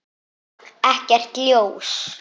Ekkert ljós.